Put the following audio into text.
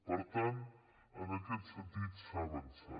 per tant en aquest sentit s’ha avançat